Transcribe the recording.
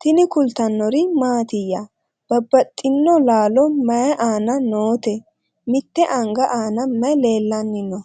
tini kultannori mattiya? Babaxxittinno laalo may aanna nootte? mitte anga aanna may leelanni noo?